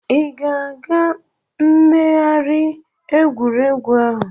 I ga-aga megharị egwuregwu ahụ?